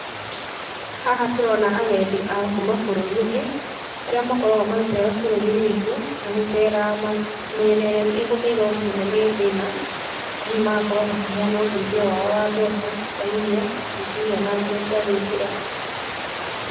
Haha tũrona agendi akuuma bũrũri ũngĩ, arĩa makoragwo magĩceera bũrũri-inĩ witũ, na gũceera mĩena ĩrĩa ĩgũmĩirwo mũno nĩ thĩna, hihi magakorwo makĩheana ũteithio wao wa mbeca, wa irio, kana hihi ona nguo cia gwĩkĩra.